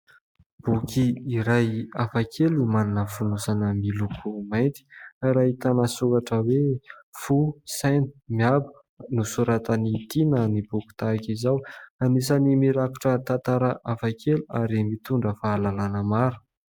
Boky iray hafa kely no manana fonosana miloko mainty ary ahitana soratra hoe "FO, SAINA, MIABO". Nosoratan'i Tiana ny boky tahaka izao. Anisan'ny mirakotra tantara hafa kely ary mitondra fahalalàna maro.